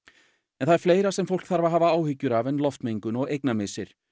en það er fleira sem fólk þarf að hafa áhyggjur af en loftmengun og eignamissir